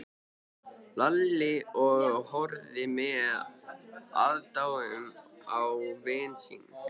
Lalli og horfði með aðdáun á vin sinn.